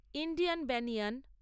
Indian banyan